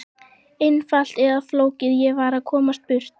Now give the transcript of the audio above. Einfalt eða flókið, ég varð að komast burt.